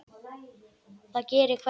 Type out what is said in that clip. Það gerir hverjum manni gott.